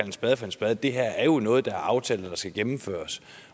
en spade for en spade det her er jo noget der er aftalt og som skal gennemføres